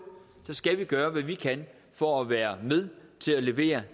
skal vi gøre hvad vi kan for at være med til at levere